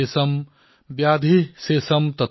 ব্যাধিঃ শোষম তথৈৱচ